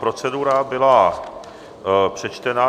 Procedura byla přečtena.